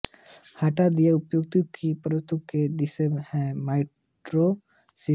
हटा दिया ऊतक की परतों के दसियों हैं माइक्रोमीटर मोटी